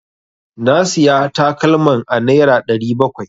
Na Siya takalman a nera ɗari bakwai.